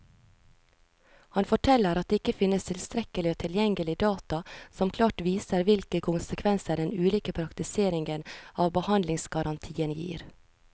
Han forteller at det ikke finnes tilstrekkelig og tilgjengelig data som klart viser hvilke konsekvenser den ulike praktiseringen av behandlingsgarantien gir.